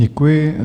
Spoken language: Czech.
Děkuji.